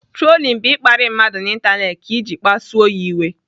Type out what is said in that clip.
Trolin bụ ịkparị mmadụ n'Ịntanetị ka iji kpasuo ya iwe.